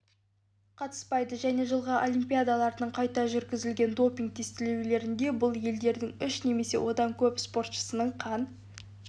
қатыспайды және жылғы олимпиадалардың қайта жүргізілген допинг-тестілеулерінде бұл елдердің үш немесе одан көп спортшысының қан